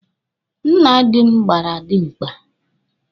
Nna dị m gbara dimkpa.